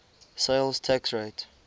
sales tax rate